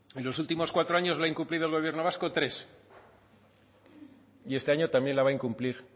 en los últimos cuatro años lo ha incumplido el gobierno vasco tres y este año también la va a incumplir